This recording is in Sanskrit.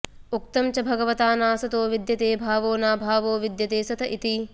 उक्तं च भगवता नासतो विद्यते भावो नाभावो विद्यते सत इति